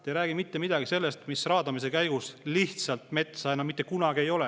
Te ei räägi mitte midagi sellest, et raadamist seal lihtsalt metsa enam mitte kunagi ei ole.